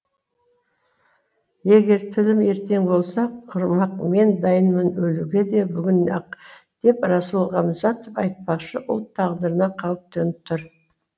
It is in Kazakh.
егер тілім ертең болса құрымақ мен дайынмын өлуге де бүгін ақ деп расул ғамзатов айтпақшы ұлт тағдырына қауіп төніп тұр